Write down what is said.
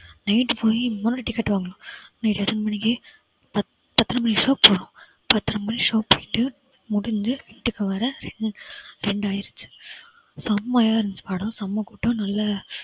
night போயி இன்னொரு ticket வாங்குனோம். night எத்தனை மணிக்கு? பத்~ பத்தரை மணி show போனோம். பத்தரை மணி show போயிட்டு முடிஞ்சி வீட்டுக்கு வர ரெண்~ ரெண்டாயிடுச்சு. செம்மையா இருந்துச்சு படம் செம கூட்டம் நல்ல